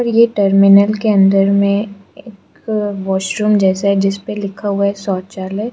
ये टर्मिनल के अंदर में एक वॉशरूम जैसा है जिसपे लिखा हुआ है शौचालय --